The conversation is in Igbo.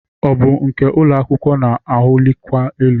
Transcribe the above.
Ọ bụ nke ụlọ akwụkwọ na-awụlikwa elu?